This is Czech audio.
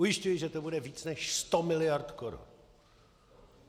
Ujišťuji, že to bude víc než sto miliard korun.